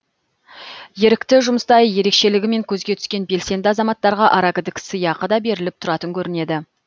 ерікті жұмыста ерекшелігімен көзге түскен белсенді азаматтарға аракідік сыйақы да беріліп тұратын көрінеді